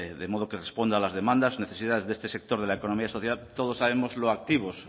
de modo que responda a las demandas necesidades de este sector de la economía social todos sabemos lo activos